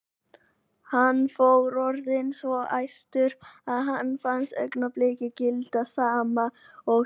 Hann var orðinn svo æstur að honum fannst augnablik gilda sama og í